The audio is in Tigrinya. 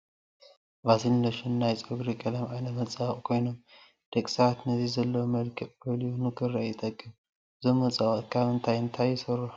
ቫዝሊን፣ ሎሽን፣ ናይ ፀጉሪ ቀለም ዓይነታት መፀባበቂ ኮይኖም ደቂ ሰባት ነቲ ዘለዎም መልክዕ ጎሊሁ ንክርአ ይጠቅም። እዞም መፀባበቂታት ካብ እንታይን እንታይን ይስርሑ?